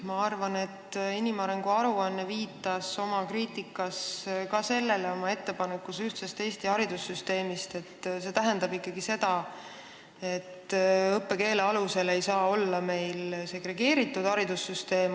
Ma arvan, et inimarengu aruanne viitas oma ettepanekuga ühtse Eesti haridussüsteemi kohta ka sellele, et see tähendab ikkagi seda, et meil ei saa olla õppekeele alusel segregeeritud haridussüsteemi.